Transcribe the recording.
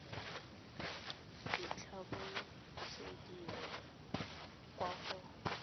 di tla busediwa kwa go